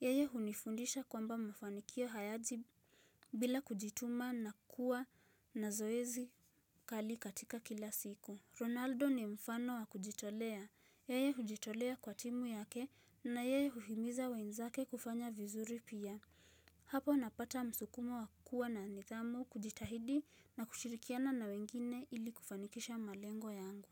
Yeye hunifundisha kwamba mafanikio hayaji bila kujituma na kuwa na zoezi kali katika kila siku Ronaldo ni mfano wa kujitolea Yeye hujitolea kwa timu yake na yeye huhimiza wenzake kufanya vizuri pia Hapo napata msukumo wa kuwa na nidhamu kujitahidi na kushirikiana na wengine ili kufanikisha malengo yangu.